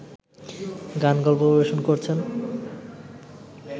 গান-গল্প পরিবেশন করছেন